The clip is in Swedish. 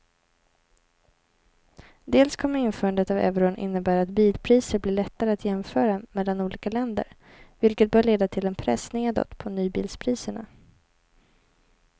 Dels kommer införandet av euron innebära att bilpriser blir lättare att jämföra mellan olika länder vilket bör leda till en press nedåt på nybilspriserna.